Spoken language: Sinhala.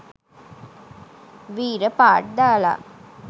වීර පාට් දාලා